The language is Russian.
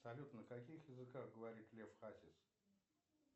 салют на каких языках говорит лев хатис